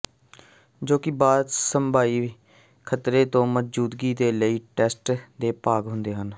ਜੋ ਕਿ ਬਾਅਦ ਸੰਭਾਵੀ ਖਤਰੇ ਦੀ ਮੌਜੂਦਗੀ ਦੇ ਲਈ ਟੈਸਟ ਦੇ ਭਾਗ ਹੁੰਦਾ ਹੈ